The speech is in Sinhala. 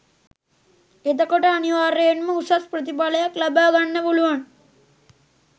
එතකොට අනිවාර්යයෙන්ම උසස් ප්‍රතිඵලයක් ලබා ගන්න පුළුවන්